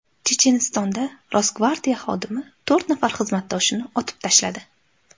Chechenistonda Rosgvardiya xodimi to‘rt nafar xizmatdoshini otib tashladi.